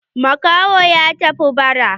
Makahon ya tafi bara.